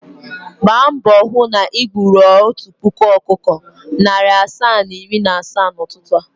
Gba mbo hụ na igburu otu puku ọkụkọ, narị asaa na iri na asaa n’ụtụtụ a!